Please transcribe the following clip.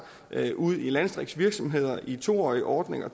ud i landdistriktsvirksomheder i to årige ordninger